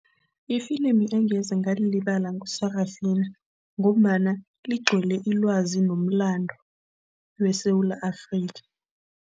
Ifilimi engeze ngalilibala ngu-Sarafinah ngombana ligcwele ilwazi ngomlando weSewula Afrika.